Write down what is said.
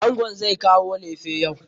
Angon zai kawo lefe yau.